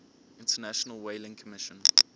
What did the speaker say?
international whaling commission